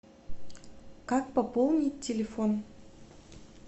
как пополнить телефон